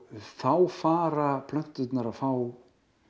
þá fara plönturnar að fá